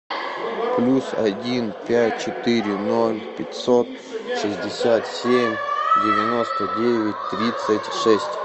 плюс один пять четыре ноль пятьсот шестьдесят семь девяносто девять тридцать шесть